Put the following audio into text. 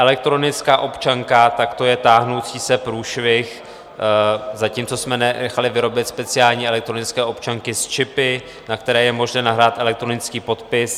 Elektronická občanka - tak to je táhnoucí se průšvih, zatímco jsme nechali vyrobit speciální elektronické občanky s čipy, na které je možné nahrát elektronický podpis...